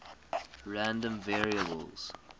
random variables